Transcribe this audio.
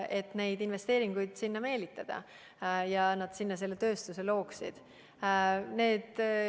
Tuleb suhelda, et investeeringuid sinna meelitada, et seal tööstust loodaks.